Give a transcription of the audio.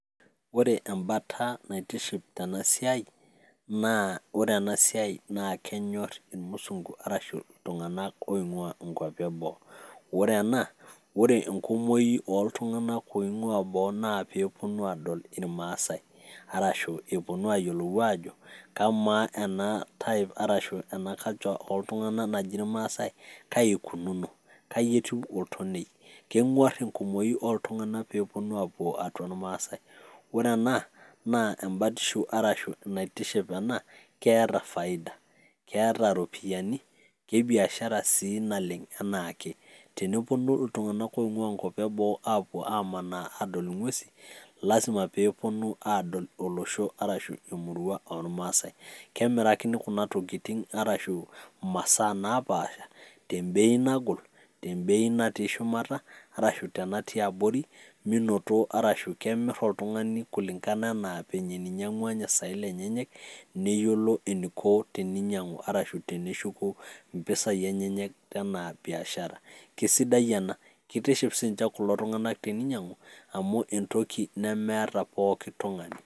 Ore embata naitiship tena siai naa ore ena siai naa kenyor irmusung'u arashu iltung'anak oing'ua inkuapi e boo. Ore ena ore enkumoi oltung'anak oing'ua boo naa peeponu aadol irmasai arashu eponu aayolou aajo kamaa ena type arashu ena kanja oltung'anak naji irmaasai kai ikununo, kai etiu oltonei, keng'uar enkumoi oltung'anak pee eponu aapuo atua irmaasai. Ore ena naa embatishu arashu naitiship ena keeta faida, keeta iropiani, ke biashara sii naleng' enaa ake teneponu iltung'anak oing'ua nkuapi e boo apou amanaa adol ng'uesi lazima pee eponu adol olosho arashu emurua ormaasai. Kemirakini kuna tokitin arashu masaa napaasha te bei nagol, te bei natii shumata arashu te natii abori minoto arashu kemir oltung'ani kulingana enaa venye ninyang'ua ninye saen lenyenyek neyolo eniko teninyang'u arashu teneshuku impesai enyenyek enaa biashara. Kesidai ena, kitiship siinje kulo tung'anak teninyang'u entoki nemeeta pooki tung'ani.